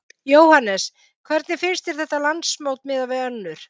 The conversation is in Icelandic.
Jóhannes: Hvernig finnst þér þetta landsmót miðað við önnur?